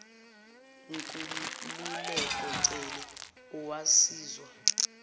nkululeko cele owasizwa